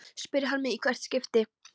spyr hann mig í hvert skipti.